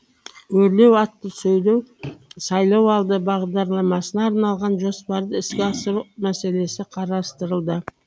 өрлеу атты сайлау алды бағдарламасына арналған жоспарды іске асыру мәселесі қарастырылды